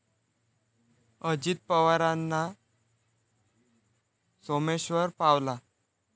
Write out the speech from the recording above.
अजित पवारंना 'सोमेश्वर' पावला